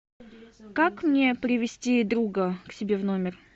как мне привести друга к себе в номер